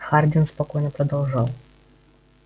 хардин спокойно продолжал